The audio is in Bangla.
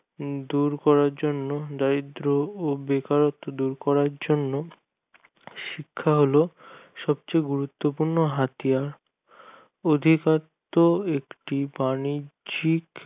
দূর করার জন্য দারিদ্র ও বেকারত্ব দূর করার জন্য শিক্ষা হলো সবচেয়ে গুরুত্ব পূর্ণ হাতিয়ার অধিকত্ব একটি বাণিজ্যিক